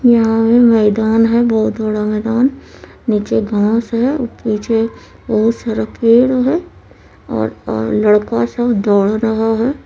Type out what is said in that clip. यहां पे मैदान है बहुत बड़ा मैदान नीचे घास है पीछे बहुत सारा पेड़ है और और लड़का सब दौड़ रहा है।